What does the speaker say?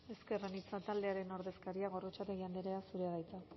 ezker anitza taldearen ordezkaria gorrotxategi andrea zurea de hitza